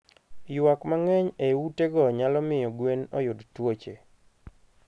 Ywak mang'eny e utego nyalo miyo gwen oyud tuoche.